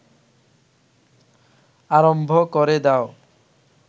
আরম্ভ ক’রে দাও